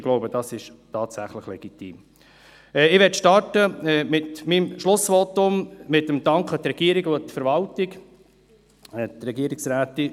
Ich möchte zu Beginn meines Schlussvotums der Regierung und der Verwaltung danken.